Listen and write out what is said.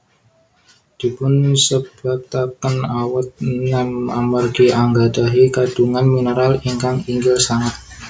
Dipunsebataken awet nem amargi anggadhahi kandhungan mineral ingkang inggil sanget